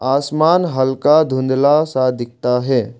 आसमान हल्का धुंधला सा दिखता है।